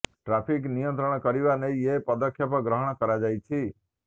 traffic ନିୟନ୍ତ୍ରଣ କରିବା ନେଇ ଏହି ପଦକ୍ଷେପ ଗ୍ରହଣ କରାଯାଇଛି